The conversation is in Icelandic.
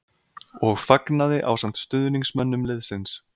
. og fagnaði ásamt stuðningsmönnum liðsins.